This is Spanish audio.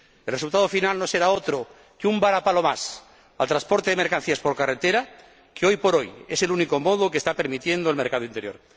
El resultado final no será otro que un varapalo más al transporte de mercancías por carretera, que, hoy por hoy, es el único modo que está permitiendo el mercado interior.